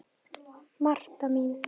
Marta mín.